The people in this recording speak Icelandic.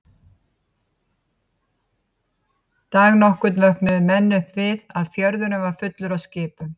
Dag nokkurn vöknuðu menn upp við að fjörðurinn var fullur af skipum.